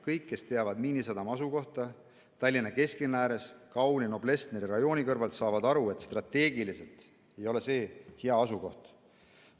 Kõik, kes teavad Miinisadama asukohta Tallinna kesklinna ääres kauni Noblessneri rajooni kõrval, saavad aru, et strateegiliselt ei ole see hea asukoht.